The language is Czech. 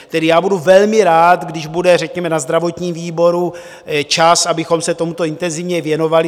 Tedy já budu velmi rád, když bude řekněme na zdravotním výboru čas, abychom se tomuto intenzivně věnovali.